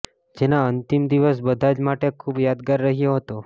જેના અંતિમ દિવસ બધા જ માટે ખુબ યાદગાર રહ્યો હતો